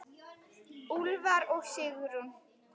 Úlfar og Sigrún.